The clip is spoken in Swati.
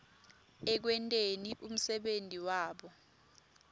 ekwenteni umsebenti wabo